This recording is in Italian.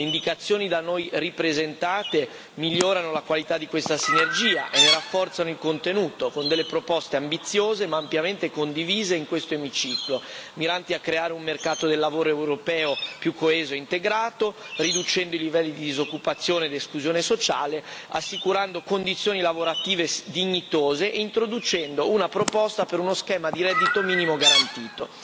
Le indicazioni da noi ripresentate migliorano la qualità di questa sinergia e ne rafforzano il contenuto con delle proposte ambiziose ma ampiamente condivise in questo Emiciclo, miranti a creare un mercato del lavoro europeo più coeso e integrato, riducendo i livelli di disoccupazione ed esclusione sociale, assicurando condizioni lavorative dignitose e introducendo una proposta per uno schema di reddito minimo garantito.